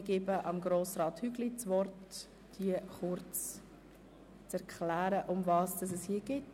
Ich erteile Grossrat Hügli kurz das Wort, damit er uns erklären kann, worum es geht.